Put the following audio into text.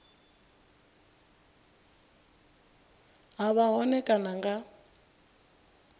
ha vha hone kana nga